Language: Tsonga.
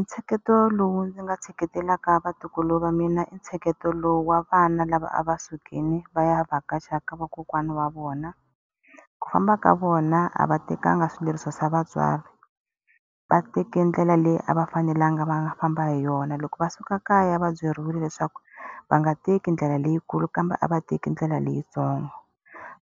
Ntsheketo lowu ndzi nga tsheketelaka vatukulu va mina i ntsheketo lowu wa vana lava a va sukile va ya vhakacha ka vakokwana wa vona. Ku famba ka vona a va tekanga swileriso swa vatswari, va teke ndlela leyi a va fanelanga va famba hi yona. Loko va suka kaya va byeriwile leswaku va nga teki ndlela leyikulu kambe a va teke ndlela leyitsongo,